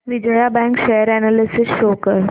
Vijaya bank share analysis show कर